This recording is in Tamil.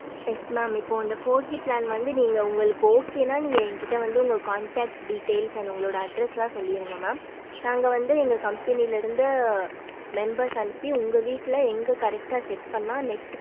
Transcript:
yes mam இப்போ இந்த four G வந்து நீங்க உங்களுக்கு okay னா நீங்க என்கிட்ட வந்து உங்க condact details and உங்களோட address எல்லாம் சொல்லிருங்க mam நாங்க வந்து எங்க கம்பெனியில் இருந்து நாங்க members அனுப்பி உங்க வீட்ல எங்க correct டா set பண்ண net